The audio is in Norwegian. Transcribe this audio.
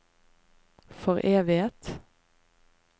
foreviget